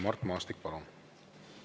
Mart Maastik, palun!